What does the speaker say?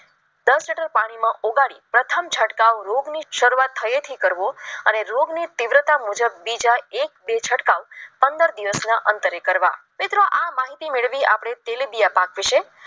દસ લીટર પાણીમાં ઓગાળી પ્રથમ છટકાવરોગની શરૂઆતથી કરવો અને રોગ ની તીવ્રતા મુજબ બીજા એક બે છંટકાવ પંદર દિવસના અંતરે કરવા મિત્રો આ માહિતી મેળવવા આપણે તેલીબીયા પાક વિશે